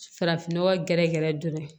Farafinnɔgɔ gɛrɛ gɛrɛ dɔrɔn